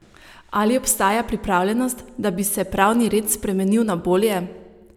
Ali obstaja pripravljenost, da bi se pravni red spremenil na bolje?